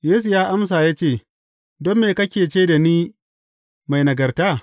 Yesu ya amsa ya ce, Don me kake ce da ni mai nagarta?